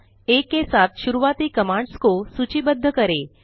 आ के साथ शुरुआती कमांड्स को सूचिबद्ध करें